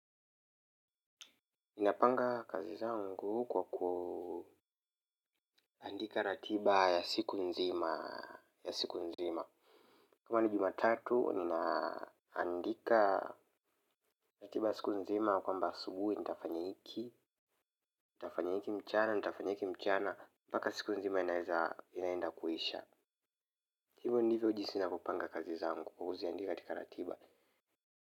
Ninapanga kazi zangu kwa kuandika ratiba ya siku nzima. Kama ni jumatatu, ninaandika ratiba ya siku nzima ya kwamba asubuhi, nitafanya hiki, nitafanya hiki mchana, nitafanya hiki mchana. Mpaka siku nzima inaweza inaenda kuisha hivyo ndivyo jinsi ninavyopanga kazi zangu kwa kuziandika katika ratiba.